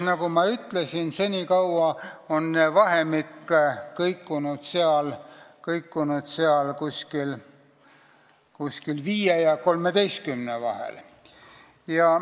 Nagu ma ütlesin, seni on vahemik kõikunud 5 ja 13 vahel.